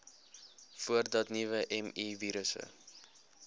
voordat nuwe mivirusse